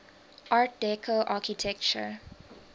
art deco architecture